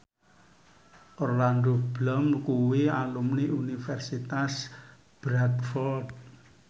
Orlando Bloom kuwi alumni Universitas Bradford